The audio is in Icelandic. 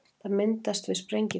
það myndast við sprengigos